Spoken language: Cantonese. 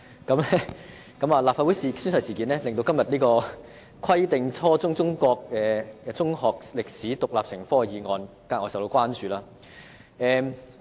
有關事件亦令今天這項"規定初中中國歷史獨立成科"的議案，格外受到關注。